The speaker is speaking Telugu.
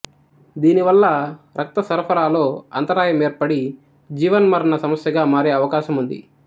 దీనివల్ల రక్తసరఫరాలో అంతరాయం ఏర్పడి జీవన్మరణ సమస్యగా మారే అవకాశముంది